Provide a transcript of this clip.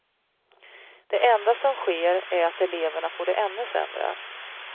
Det enda som sker är att eleverna får det ännu sämre.